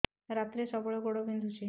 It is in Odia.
ରାତିରେ ସବୁବେଳେ ଗୋଡ ବିନ୍ଧୁଛି